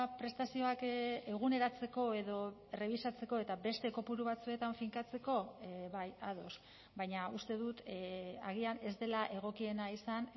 prestazioak eguneratzeko edo errebisatzeko eta beste kopuru batzuetan finkatzeko bai ados baina uste dut agian ez dela egokiena izan